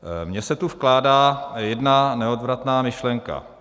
Mně se tu vkrádá jedna neodvratná myšlenka.